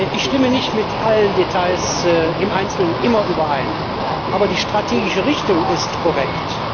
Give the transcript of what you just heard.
Ich stimme nicht immer mit allen Details im Einzelnen überein. Aber die strategische Richtung ist korrekt.